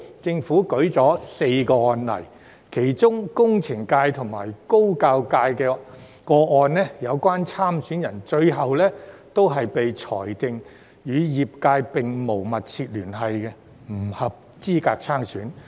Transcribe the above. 政府舉出4宗案例，其中工程界及高等教育界的個案，有關參選人最後被裁定與業界並無"密切聯繫"，不合資格參選。